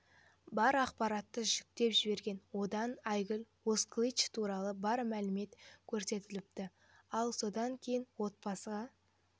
бар ақпаратты жүктеп жіберген онда айгүл озкылыч туралы бар мәлімет көрсетіліпті ал содан кейін отбасыға